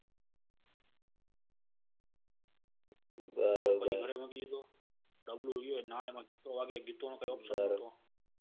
બરોબર ગરે મૂકી ડીએ તો ગીતો વાગે ગીતો નો ક option નતો.